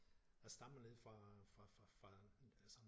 Jeg stammer nede fra fra fra fra sådan